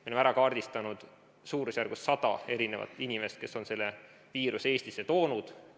Me oleme kaardistanud suurusjärgus sada inimest, kes on selle viiruse Eestisse toonud.